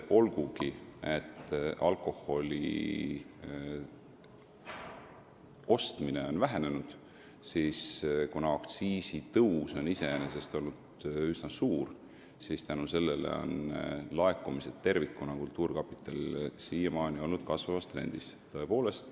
Olgugi et alkoholi ostmine on vähenenud, on iseenesest üsna suure aktsiisitõusu tõttu laekumised kultuurkapitalile tervikuna siiamaani kasvavas trendis olnud.